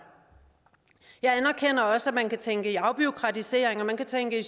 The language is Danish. jeg anerkender også at man kan tænke i afbureaukratisering og man kan tænke i